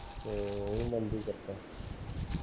ਤਾਂ ਬੰਦ ਹੀ ਕਰਤਾ